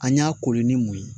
An y'a kori ni mun ye